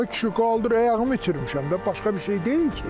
Ə kişi, qaldır, ayağımı itirmişəm də, başqa bir şey deyil ki.